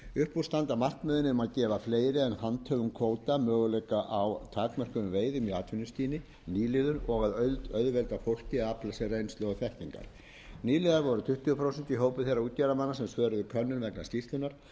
úr standa markmiðin um að gefa fleiri en handhöfum kvóta möguleika á takmörkuðum veiðum í atvinnuskyni nýliðum og að auðvelda fólki að afla sér reynslu og þekkingar nýliðar voru tuttugu prósent í hópi þeirra útgerðarmanna sem svöruðu könnun vegna skýrslunnar